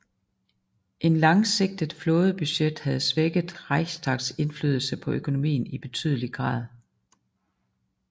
Et langsigtet flådebudget havde svækket Reichstags indflydelse på økonomien i betydelig grad